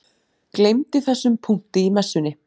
Gleymdi þessum punkti í Messunni.